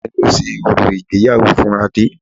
Ìyá mi ni ó ṣe orò ìgbéyàwó fún Adé